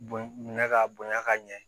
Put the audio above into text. Bon minɛ k'a bonya ka ɲɛ